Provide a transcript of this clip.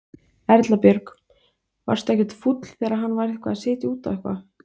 Erla Björg: Varstu ekkert fúll þegar hann var eitthvað að setja út á eitthvað?